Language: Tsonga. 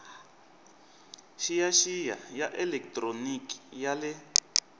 xiyaxiya ya elekitroniki ya le